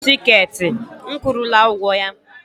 Nye m tikeetị m kwụrụla ụgwọ ya!